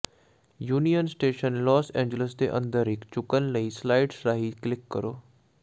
union Station Los Angeles ਦੇ ਅੰਦਰ ਇਕ ਝੁਕਣ ਲਈ ਸਲਾਈਡਜ਼ ਰਾਹੀਂ ਕਲਿਕ ਕਰੋ